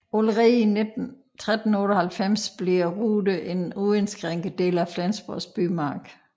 Allerede i 1398 bliver Rude en uindskrænket del af Flensborgs bymark